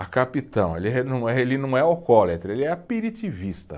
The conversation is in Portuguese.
A capitão, ele ele não é alcoólatra, ele é aperitivista.